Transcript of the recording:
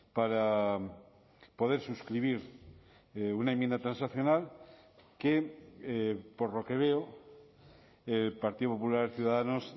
para poder suscribir una enmienda transaccional que por lo que veo el partido popular ciudadanos